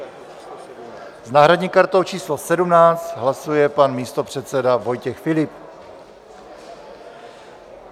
S náhradní kartou číslo 17 hlasuje pan místopředseda Vojtěch Filip.